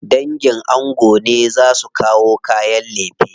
Dangin ango ne za su kawo kayan lefe.